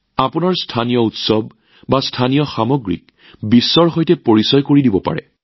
আপোনালোকৰ স্থানীয় উৎসৱ হওক বা সামগ্ৰী হওক ইয়াৰ জৰিয়তেও আপোনালোকে সেইবোৰক বিশ্বব্যাপী কৰি তুলিব পাৰে